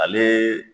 Ale